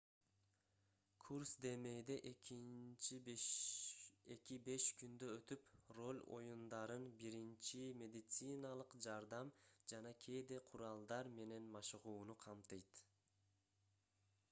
курс демейде 2-5 күндө өтүп роль оюндарын биринчи медициналык жардам жана кээде куралдар менен машыгууну камтыйт